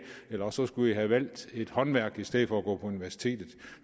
eller også skulle i have valgt et håndværk i stedet gå på universitetet